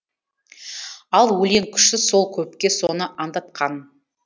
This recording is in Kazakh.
ал өлең күші сол көпке соны аңдатқан